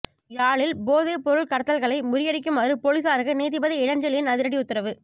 யாழில் போதைப் பொருள் கடத்தல்களை முறியடிக்குமாறு பொலிஸாருக்கு நீதிபதி இளஞ்செழியன் அதிரடி உத்தரவு